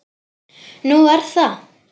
Nú, er það?